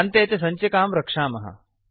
अन्ते च सञ्चिकां रक्षामः